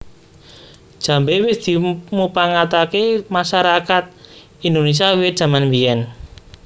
Jambé wis dimupangataké masarakat Indonésia wiwit jaman biyèn